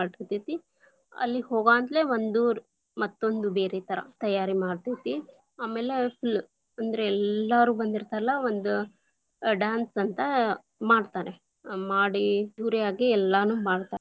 ಮಾಡಿರ್ತೀವಿ, ಅಲ್ಲಿ ಹೋಗಾಂತಲೇ ಒಂದು ಮತ್ತೊಂದು ಬೇರೆ ಥರಾ ತಯಾರಿ ಮಾಡ್ತೇತಿ, ಆಮೇಲೆ full lang:Foreign ಅಂದ್ರೆ ಎಲ್ಲಾರೂ ಬಂದಿರ್ತಾರಲ್ಲ, ಒಂದ dance lang:Foreign ಅಂತಾ ಮಾಡ್ತಾರೆ, ಹ್ಮ್ ಮಾಡಿ ಇವ್ರೆ ಆಗಿ ಎಲ್ಲಾನು ಮಾಡ್ತಾ.